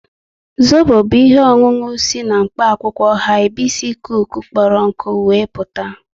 Zobo bu ihe ọṅụṅụ si na mkpa akwụkwọ Haibisikusu kpọrọ nkụ we meputa